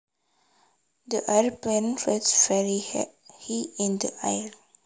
The airplane flies very high in the air